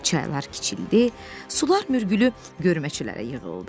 Çaylar kiçildi, sular mürgülü görməçilərə yığıldı.